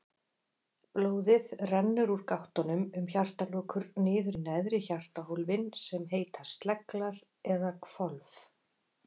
Blóðið rennur úr gáttunum um hjartalokur niður í neðri hjartahólfin sem heita sleglar eða hvolf.